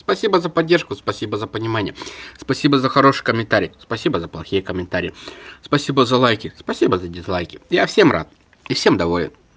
спасибо за поддержку спасибо за понимание спасибо за хороший комментарий спасибо за плохие комментарии спасибо за лайки спасибо за дизлайки я всем рад и всем доволен